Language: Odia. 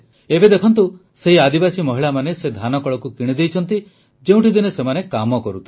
ଏବେ ଦେଖନ୍ତୁ ସେହି ଆଦିବାସୀ ମହିଳାମାନେ ସେ ଧାନକଳକୁ କିଣିଦେଇଛନ୍ତି ଯେଉଁଠି ଦିନେ ସେମାନେ କାମ କରୁଥିଲେ